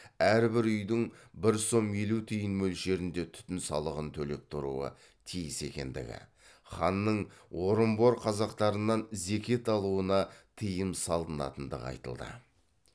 әрбір үйдің бір сом елу тиын мөлшерінде түтін салығын төлеп тұруы тиіс екендігі ханның орынбор қазақтарынан зекет алуына тыйым салынатындығы айтылды